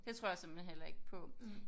Det tror jeg simpelthen heller ikke på